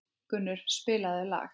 Gunnur, spilaðu lag.